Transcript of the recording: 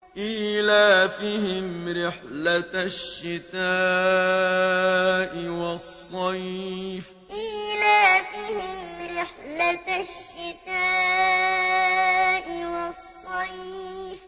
إِيلَافِهِمْ رِحْلَةَ الشِّتَاءِ وَالصَّيْفِ إِيلَافِهِمْ رِحْلَةَ الشِّتَاءِ وَالصَّيْفِ